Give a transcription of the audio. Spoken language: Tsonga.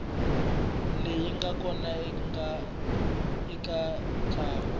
leyi nga kona eka ntlangu